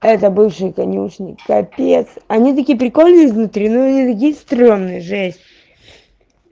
это бывшие конюшни капец они такие прикольные изнутри но они такие стрёмные жесть